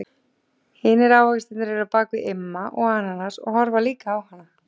Hinir ávaxtirnir eru á bak við Imma ananas og horfa líka á hana.